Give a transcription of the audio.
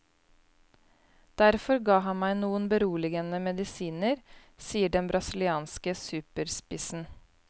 Derfor ga han meg noen beroligende medisiner, sier den brasilianske superspissen.